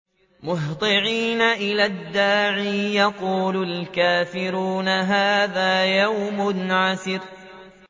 مُّهْطِعِينَ إِلَى الدَّاعِ ۖ يَقُولُ الْكَافِرُونَ هَٰذَا يَوْمٌ عَسِرٌ